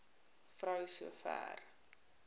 vrou so ver